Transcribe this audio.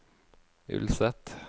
Ulset